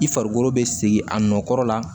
I farikolo bɛ segin a nɔkɔrɔ la